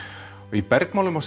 í bergmáli má